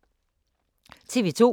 TV 2